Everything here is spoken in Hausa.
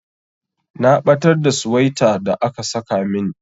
Na batar da suwaita da aka saka min.